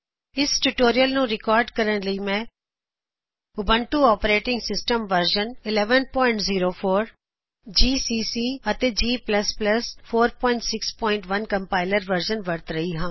ਇਸ ਟਯੂਟੋਰਿਅਲ ਨੂੰ ਰਿਕਾਰਡ ਕਰਨ ਲਈ ਮੈਂ Ubuntu operating system version 1104 Ubuntu ਵਿੱਚ ਜੀ ਸੀ ਸੀ ਅਤੇ ਜੀ ਪਲਸ ਪਲਸ ਜੀ ਕੰਪਾਇਲਰ ਵਰਜ਼ਨ 461